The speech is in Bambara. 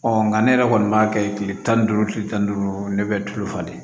nka ne yɛrɛ kɔni b'a kɛ kile tan ni duuru kile tan ni duuru ne bɛ tulo falen